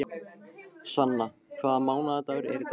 Sanna, hvaða mánaðardagur er í dag?